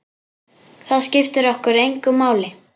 Það skiptir okkur engu máli.